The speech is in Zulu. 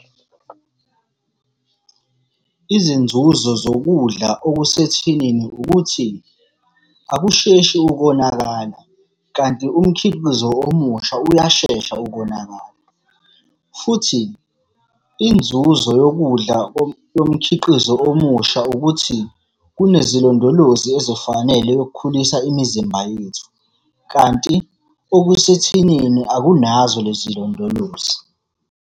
Izinzuzo zokudla okusethinini ukuthi, akusheshi ukonakala, kanti umkhiqizo omusha uyashesha ukonakala, futhi inzuzo yokudla yomkhiqizo omusha ukuthi, kunezilondolozi ezifanele yokukhulisa imizimba yethu, kanti okusethinini akunazo lezi iy'londolozi.